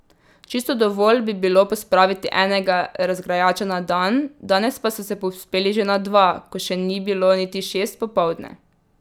Čisto dovolj bi bilo pospraviti enega razgrajača na dan, danes pa so se povzpeli že na dva, ko še ni bilo niti šest popoldne.